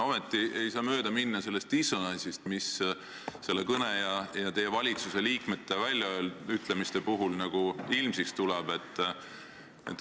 Ometi ei saa mööda minna sellest dissonantsist, mis selle kõne ja teie valitsuse liikmete väljaütlemiste puhul ilmsiks tuleb.